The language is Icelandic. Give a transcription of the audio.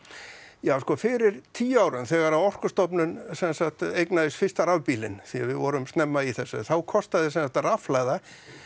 já sko fyrir tíu árum þegar að Orkustofnun sem sagt eignaðist fyrsta rafbílinn því við vorum snemma í þessu þá kostaði sem sagt rafhlaða